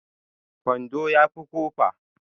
Kwando ya fi kofa